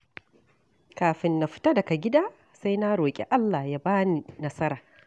Kafin na fita daga gida, sai na roƙi Allah ya ba ni nasara.